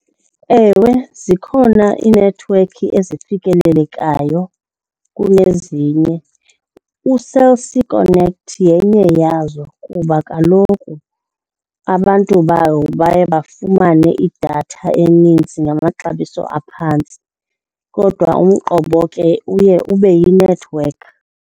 Ewe, zikhona iinethiwekhi ezifikelelekayo kunezinye. UCell C Connect yenye yazo kuba kaloku abantu bayo baye bafumane idatha eninzi ngamaxabiso aphantsi kodwa umqobo ke uye ube yinethiwekhi.